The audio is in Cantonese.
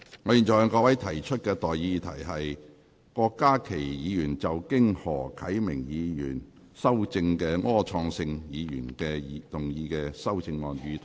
我現在向各位提出的待議議題是：郭家麒議員就經何啟明議員修正的柯創盛議員議案動議的修正案，予以通過。